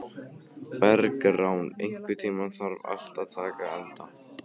Bergrán, einhvern tímann þarf allt að taka enda.